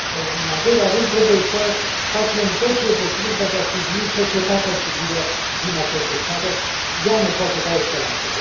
în al doilea rând, trebuie să facem tot ce este posibil pentru a sprijini societatea civilă din această țară, ea ne poate da o speranță.